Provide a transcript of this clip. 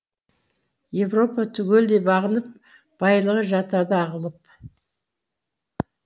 европа түгелдей бағынып байлығы жатады ағылып